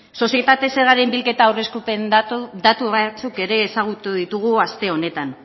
sozietate zergaren bilketa aurreikuspen datu batzuk ere ezagutu ditugu aste honetan